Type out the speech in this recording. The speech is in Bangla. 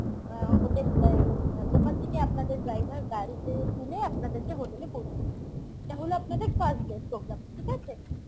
অ্যাঁ hotel এই ওখান থেকে আপনাদের driver গাড়িতে তুলে আপনাদেরকে hotel এ পৌঁছে দেব এটা হল আপনাদের first day programme ঠিক আছে?